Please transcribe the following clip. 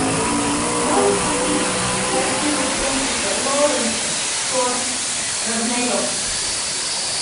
можешь включить картину фрэнсиса лоуренса тор рагнарек